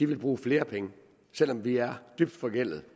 vil bruge flere penge selv om vi er dybt forgældede